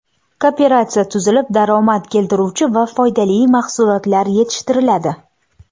Kooperatsiya tuzilib, daromad keltiruvchi va foydali mahsulotlar yetishtiriladi.